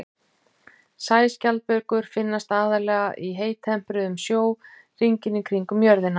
Sæskjaldbökur finnast aðallega í heittempruðum sjó hringinn í kringum jörðina.